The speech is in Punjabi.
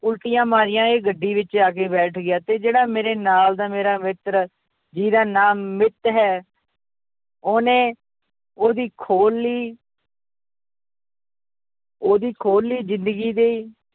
ਉਲਟੀਆਂ ਮਾਰੀਆਂ ਇਹ ਗੱਡੀ ਵਿੱਚ ਆ ਕੇ ਬੈਠ ਗਿਆ ਤੇ ਜਿਹੜਾ ਮੇਰੇ ਨਾਲ ਦਾ ਮੇਰਾ ਮਿੱਤਰ ਜਿਹਦਾ ਨਾਂ ਮਿੱਤ ਹੈ ਉਹਨੇ ਉਹਦੀ ਖੋਲ ਲਈ ਉਹਦੀ ਖੋਲੀ ਜ਼ਿੰਦਗੀ ਦੀ